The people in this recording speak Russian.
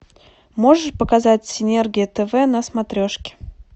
можешь показать синергия тв на смотрешке